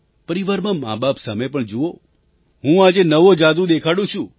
પરિવારમાં માબાપ સામે પણ જુઓ હું આજે નવો જાદુ દેખાડું છું